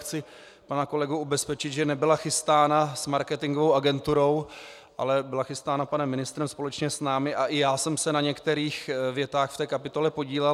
Chci pana kolegu ubezpečit, že nebyla chystána s marketingovou agenturou, ale byla chystána panem ministrem společně s námi a i já jsem se na některých větách v té kapitole podílel.